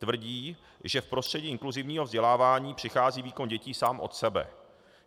Tvrdí, že v prostředí inkluzivního vzdělávání přichází výkon dětí sám od sebe.